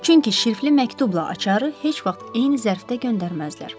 Çünki şrifli məktubla açarı heç vaxt eyni zərfdə göndərməzlər.